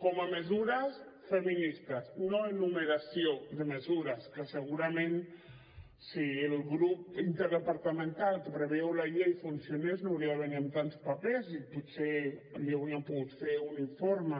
com a mesures feministes no enumeració de mesures que segurament si el grup interdepartamental que preveu la llei funcionés no hauria de venir amb tants papers i potser li haurien pogut fer un informe